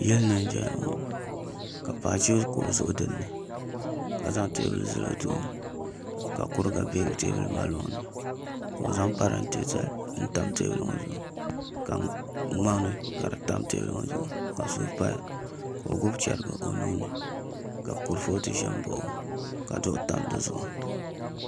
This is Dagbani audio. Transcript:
Yili ni n ʒɛya ŋo ka paɣa ʒi kuɣu zuɣu dinni ka zaŋ teebuli zali o tooni ka kuriga bɛ teebuli maa loŋni ka o zaŋ parantɛ tam teebuli ŋo zuɣu ka ŋmani ka di tam teebuli ŋo zuɣu ka suu paya ka o gbubi chɛrigi o nuuni ka kurifooti ʒɛ n baɣa o ka duɣu tam dizuɣu